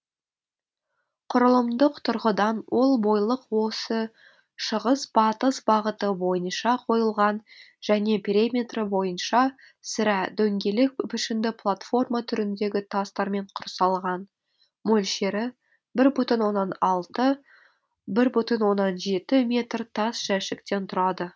құрылымдық тұрғыдан ол бойлық осі шығыс батыс бағыты бойынша қойылған және периметрі бойынша сірә дөңгелек пішінді платформа түріндегі тастармен құрсалған мөлшері бір бүтін оннан алты бір бүтін оннан жеті метр тас жәшіктен тұрады